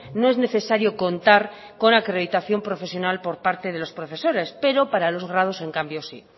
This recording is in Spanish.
no es necesario contar con acreditación profesional por parte de los profesores pero para los grados en cambio sí